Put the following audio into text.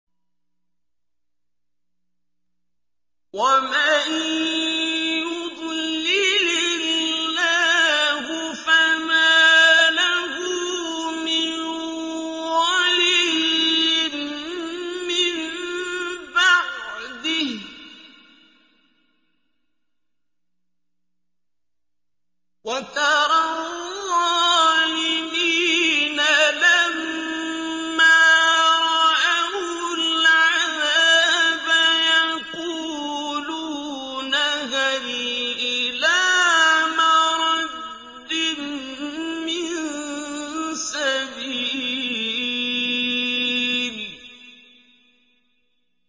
وَمَن يُضْلِلِ اللَّهُ فَمَا لَهُ مِن وَلِيٍّ مِّن بَعْدِهِ ۗ وَتَرَى الظَّالِمِينَ لَمَّا رَأَوُا الْعَذَابَ يَقُولُونَ هَلْ إِلَىٰ مَرَدٍّ مِّن سَبِيلٍ